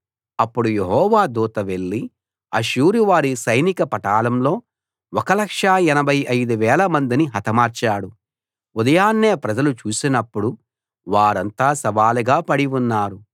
అప్పుడు యెహోవా దూత వెళ్ళి అష్షూరువారి సైనిక పటాలంలో 1 85000 మందిని హతమార్చాడు ఉదయాన్నే ప్రజలు చూసినప్పుడు వారంతా శవాలుగా పడి ఉన్నారు